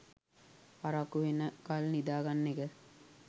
පරක්කු වෙනකල් නිදා ගන්න එක